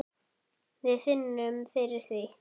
Við finnum fyrir því.